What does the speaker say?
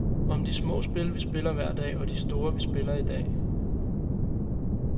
Om de små spil vi spiller hver dag og de store vi spiller i dag.